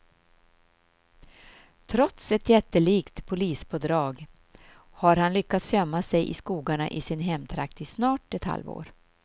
Trots ett jättelikt polispådrag har han lyckats gömma sig i skogarna i sin hemtrakt i snart ett halvår.